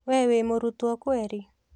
We wĩ mũrutwo kweri?